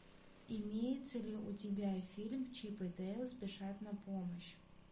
имеется ли у тебя фильм чип и дейл спешат на помощь